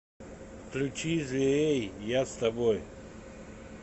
включи зверей я с тобой